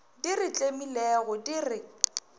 di re tlemilego di re